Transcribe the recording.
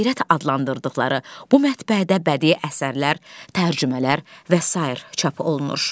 Qeyrət adlandırdıqları bu mətbəədə bədii əsərlər, tərcümələr və sair çap olunur.